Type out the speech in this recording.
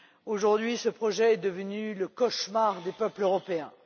Aujourd'hui, ce projet est devenu le cauchemar des peuples européens.